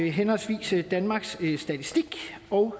henholdsvis danmarks statistik og